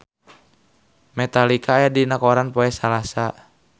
Metallica aya dina koran poe Salasa